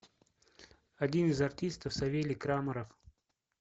один из артистов савелий крамаров